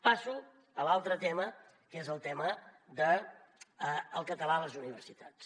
passo a l’altre tema que és el tema del català a les universitats